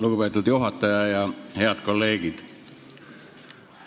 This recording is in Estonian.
Lugupeetud juhataja ja head kolleegid!